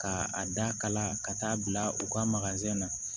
Ka a da kala ka taa bila u ka na